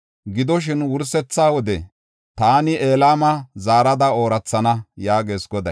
Gidoshin, wursetha wode taani Elama zaarada oorathana” yaagees Goday.